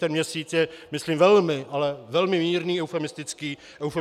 Ten měsíc je myslím velmi, ale velmi mírný, eufemistický odhad.